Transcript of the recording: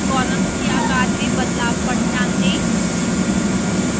columns के आकार में बदलाव पर ध्यान दें